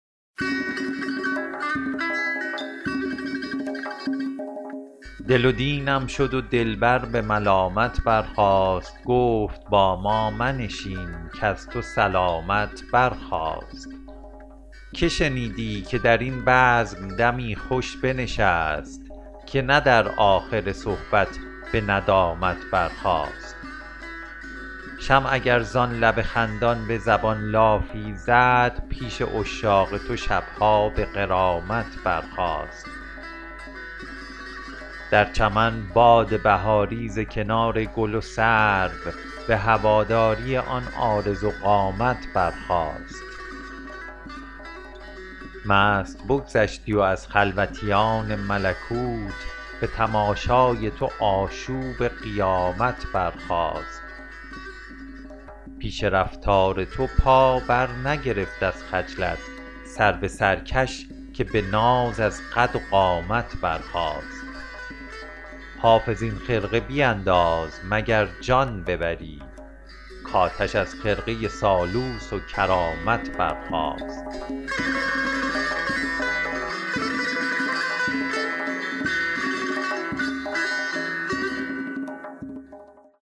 دل و دینم شد و دلبر به ملامت برخاست گفت با ما منشین کز تو سلامت برخاست که شنیدی که در این بزم دمی خوش بنشست که نه در آخر صحبت به ندامت برخاست شمع اگر زان لب خندان به زبان لافی زد پیش عشاق تو شب ها به غرامت برخاست در چمن باد بهاری ز کنار گل و سرو به هواداری آن عارض و قامت برخاست مست بگذشتی و از خلوتیان ملکوت به تماشای تو آشوب قیامت برخاست پیش رفتار تو پا برنگرفت از خجلت سرو سرکش که به ناز از قد و قامت برخاست حافظ این خرقه بینداز مگر جان ببری کآتش از خرقه سالوس و کرامت برخاست